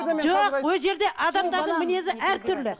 жоқ ол жерде адамдардың мінезі әртүрлі